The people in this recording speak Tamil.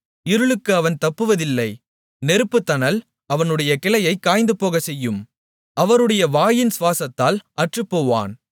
இருளுக்கு அவன் தப்புவதில்லை நெருப்புத்தணல் அவனுடைய கிளையைக் காய்ந்துபோகச் செய்யும் அவருடைய வாயின் சுவாசத்தால் அற்றுப்போவான்